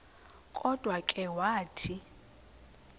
kodwa ke wathi